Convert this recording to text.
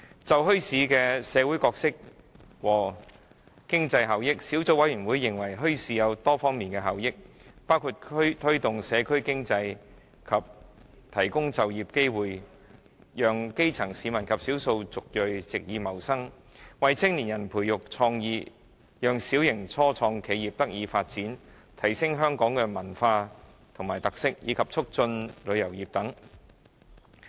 就墟市的社會角色和經濟效益，小組委員會認為墟市有多方面的效益，包括推動社區經濟和提供就業機會，讓基層市民及少數族裔藉以謀生，為青年人培育創意，讓小型初創企業得以發展，提升香港的文化和特色，以及促進旅遊業。